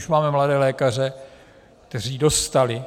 Už máme mladé lékaře, kteří dostali